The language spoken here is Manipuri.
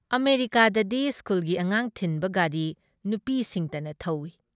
ꯑꯃꯦꯔꯤꯀꯥꯗꯗꯤ ꯁ꯭ꯀꯨꯜꯒꯤ ꯑꯉꯥꯡ ꯊꯤꯟꯕ ꯒꯥꯔꯤ ꯅꯨꯄꯤꯁꯤꯡꯇꯅ ꯊꯧꯏ ꯫